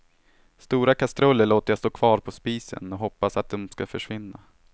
Stora kastruller låter jag stå kvar på spisen och hoppas att de ska försvinna.